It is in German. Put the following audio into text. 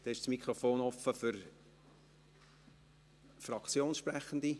Dann ist das Mikrofon offen für Fraktionssprechende.